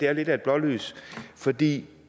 er lidt af et blålys for det